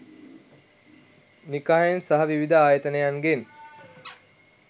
නිකායෙන් සහ විවිධ ආයතනයන්ගෙන්